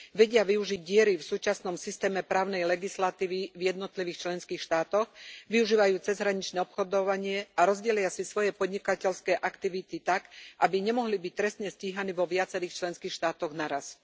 Vedia využiť diery v súčasnom systéme právnej legislatívy v jednotlivých členských štátoch, využívajú cezhraničné obchodovanie a rozdelia si svoje podnikateľské aktivity tak, aby nemohli byť trestne stíhaní vo viacerých členských štátoch naraz.